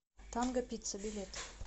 танго пицца билет